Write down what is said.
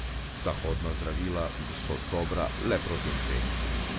Zahodna zdravila so dobra le proti infekciji.